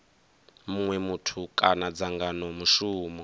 munwe muthu kana dzangano mushumo